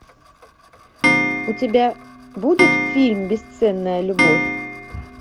у тебя будет фильм бесценная любовь